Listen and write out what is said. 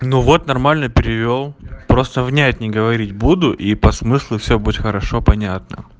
ну вот нормально перевёл просто взять не говорить буду и по смыслу все будет хорошо понятно